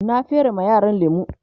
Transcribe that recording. na fere ma yaran lemu